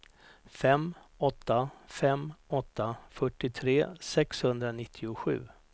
fem åtta fem åtta fyrtiotre sexhundranittiosju